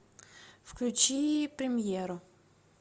включи премьеру